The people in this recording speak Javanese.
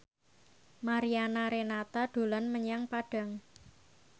Mariana Renata dolan menyang Padang